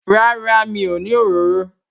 Rárá, mi ò ní òróró